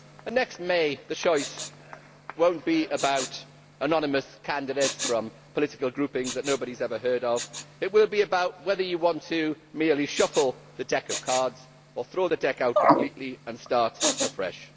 And next May the choice will not be about anonymous candidates from political groupings that nobody has ever heard of. It will be about whether you want merely to shuffle the deck of cards or to throw the deck out completely and start afresh.